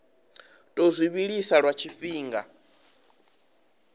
tou zwi vhilisa lwa tshifhinga